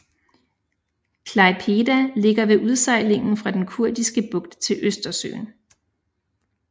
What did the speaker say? Klaipėda ligger ved udsejlingen fra den Kuriske Bugt til Østersøen